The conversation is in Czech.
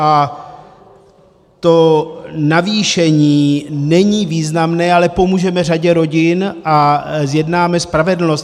A to navýšení není významné, ale pomůžeme řadě rodin a zjednáme spravedlnost.